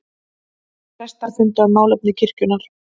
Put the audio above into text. Prestar funda um málefni kirkjunnar